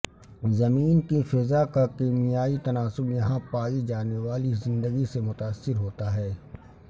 زمین کی فضا کا کیمیائی تناسب یہاں پائی جانے والی زندگی سے متاثر ہوتا ہے